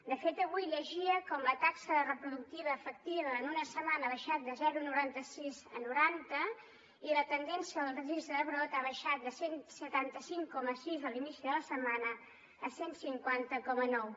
de fet avui llegia com la taxa reproductiva efectiva en una setmana ha baixat de zero coma noranta sis a noranta i la tendència dels registres de rebrot ha baixat de cent i setanta cinc coma sis a l’inici de la setmana a cent i cinquanta coma nou